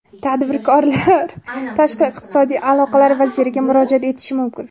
Tadbirkorlar Tashqi iqtisodiy aloqalar vaziriga murojaat etishi mumkin.